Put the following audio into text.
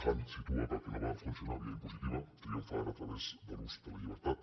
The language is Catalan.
han situa que el que no va funcionar via impositiva triom fa ara a través de l’ús de la llibertat